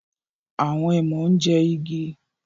Awọn èèmọ ń jẹ igi